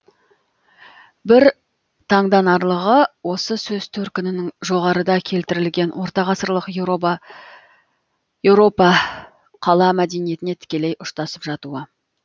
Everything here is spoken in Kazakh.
бір таңданарлығы осы сөз төркінінің жоғарыда келтірілген ортағасырлық еуропа қала мәдениетіне тікелей ұштасып жатуы